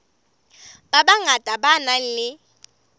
ba bangata ba nang le